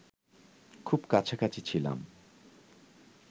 খুব কাছাকাছি ছিলাম